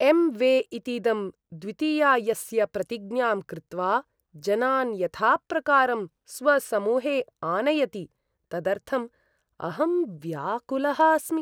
M वे इतीदं द्वितीयायस्य प्रतिज्ञां कृत्वा जनान् यथाप्रकारं स्वसमूहे आनयति, तदर्थं अहं व्याकुलः अस्मि।